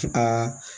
Aa